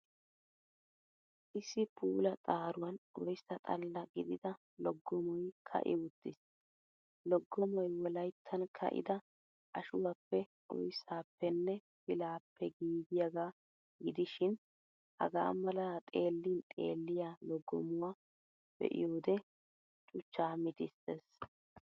Issi puula xaaruwan oyssa xalla gidida loggomoy ka'i uttiis. Loggomoy Wolayttan ka'ida ashuwaappe, oyssaappenne pilaappe giigiyaagaa gidishin, hagaa mala xeellin xeelliyaa loggomuwa be'iyoodee chuchchaa mitissees.